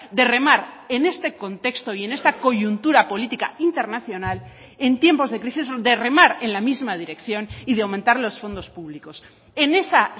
de remar en este contexto y en esta coyuntura política internacional en tiempos de crisis de remar en la misma dirección y de aumentar los fondos públicos en esa